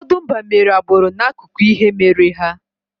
Ụfọdụ mba mere agbụrụ n’akụkọ ihe mere ha.